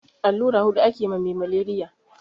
Allura hudu ake ma me maleriya